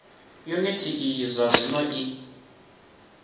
yuniti iyi zwa zwino i